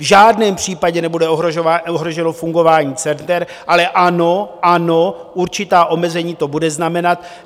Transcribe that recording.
V žádném případě nebude ohroženo fungování center, ale ano, ano, určitá omezení to bude znamenat.